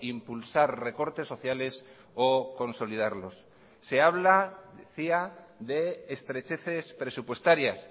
impulsar recortes sociales o consolidarlos se habla decía de estrecheces presupuestarias